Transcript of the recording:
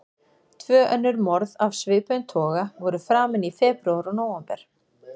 Tvö önnur morð af svipuðum toga voru framin í febrúar og nóvember.